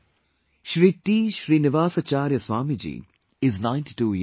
Shri T Srinivasacharya Swami Ji is NinetyTwo years old